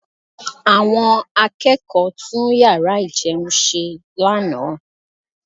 Àwọn akẹ́kọ̀ọ́ tún yàrá ìjẹun ṣe lánàá